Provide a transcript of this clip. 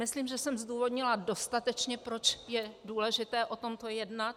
Myslím, že jsem zdůvodnila dostatečně, proč je důležité o tomto jednat.